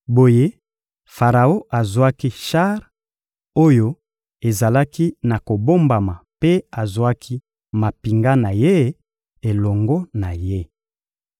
Boye Faraon azwaki shar oyo ezalaki ya kobombama mpe azwaki mampinga na ye elongo na ye.